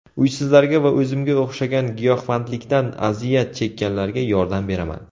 Uysizlarga va o‘zimga o‘xshagan giyohvandlikdan aziyat chekkanlarga yordam beraman.